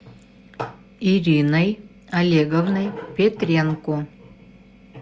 ириной олеговной петренко